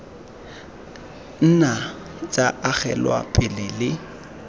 nna tsa agelwa pele le